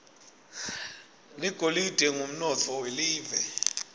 ligolide ngumnotfo welive